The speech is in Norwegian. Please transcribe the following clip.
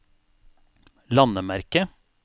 landemerke